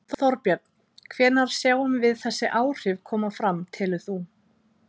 Þorbjörn: Hvenær sjáum við þessi áhrif koma fram telur þú?